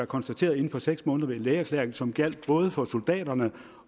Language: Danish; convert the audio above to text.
konstateret inden for seks måneder ved en lægeerklæring som gjaldt både for soldaterne